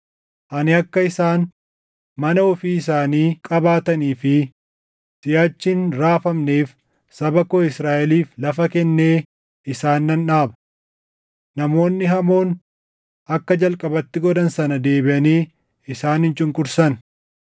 Ani akka isaan mana ofii isaanii qabaatanii fi siʼachi hin raafamneef saba koo Israaʼeliif lafa kennee isaan nan dhaaba. Namoonni hamoon akka jalqabatti godhan sana deebiʼanii isaan hin cunqursan;